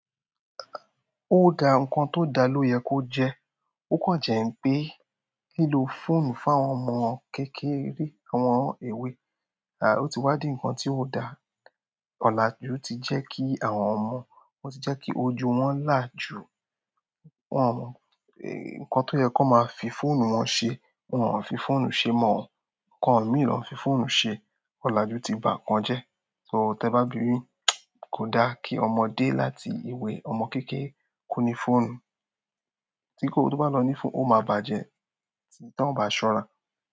Ó da, nǹkan tó dá ló yẹ kó jẹ́. Ó kan jẹ́ ń pé lílo fóònù fún àwọn ọmọ kékeré, àwọn ọmọ ewé, ah, ó ti wá di nǹkan tí ó da? Ọ̀làjú ti jẹ́ kí àwọn ọmọ, o tí jẹ́ kí ojú wọn là ju nǹkan tó yẹ kón máa fi fóònù wọn ṣe. Wọn ò fi fóònù ṣe e mọ o, nǹkan mìí ni won fi fóònù ṣe. Ọ̀làjú ti ba nǹkan jẹ́. So, tẹ bá bimi, kò da kí ọmọdé láti ewé, ọmọ kékeré kó ni fóònù. Tí kò tó bá lọ ní fóònù, ó máa bàjẹ́, atí ton bá ṣọ́ra.